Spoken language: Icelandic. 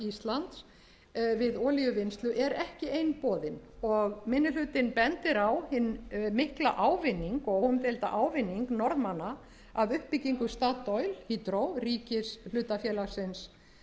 við olíuvinnslu er ekki einboðin og minni hlutinn bendir á hinn mikla ávinning og óumdeilda ávinning norðmanna af uppbyggingu statoil hydro ríkishlutafélagsins